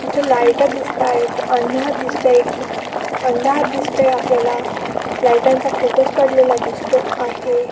तिथ लाईटा दिसत आहे. अंधार दिसतोय. अंधार दिसतोय. आपल्याला लाइटांचा फोकस पडलेला दिसतो आहे.